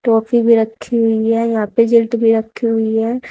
Toffee भी रखी हुई है यहां पर रिजल्ट भी रखी हुई है।